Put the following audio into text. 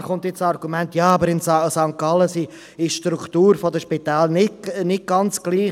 Klar kommt gleich das Argument, im Kanton St. Gallen sei die Struktur der Spitäler nicht ganz gleich.